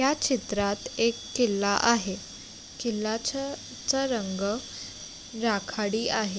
या चित्रात एक किल्ला आहे किल्ल्याचा रंग राखाडी आहे.